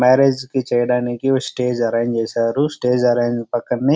Marriage కి చేయడానికి stage arrange చేశారు. స్టేజ్ అరేంజ్ పక్కనే --